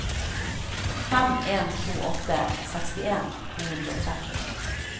fem en to åtte sekstien to hundre og tretti